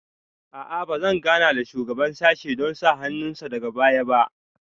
A'a ba zan gana da shugaban sashen don sa hannun sa daga baya ba